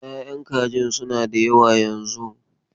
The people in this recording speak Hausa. Ya'yan kajin suna da yawa yanzun.